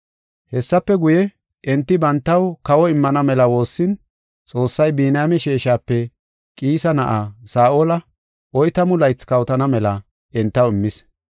Hessafe guye, enti bantaw kawo immana mela woossin, Xoossay Biniyaame sheeshape Qiisa na7aa, Saa7ola oytamu laythi kawotana mela entaw immis.